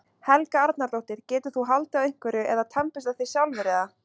Helga Arnardóttir: Getur þú haldið á einhverju eða tannburstað þig sjálfur eða?